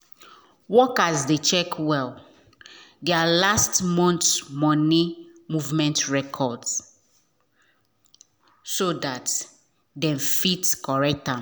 workers dey check well there last month money movement records so that them fit correct am.